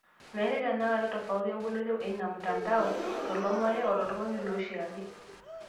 Meetai tenekata tofauti emboloto eina mtandao to olomoni, woltung'ani otii oshiake.